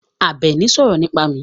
Àbẹ̀ní sọ̀rọ̀ nípa mi.